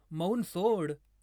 मौन सोड